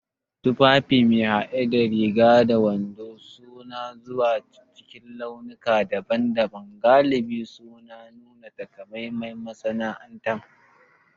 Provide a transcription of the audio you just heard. Tufafi me hade da riga da wando suna zuwa cikin launuka daban-daban, galibi suna nuna takamaiman masana'anta.